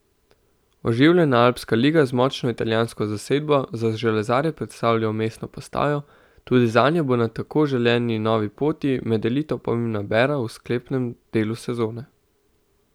Oživljena alpska liga z močno italijansko zasedbo za železarje predstavlja vmesno postajo, tudi zanje bo na tako želeni novi poti med elito pomembna bera v sklepnem delu sezone.